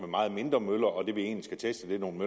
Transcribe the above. meget mindre møller og at det vi egentlig skal teste er nogle